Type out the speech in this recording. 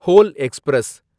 whole express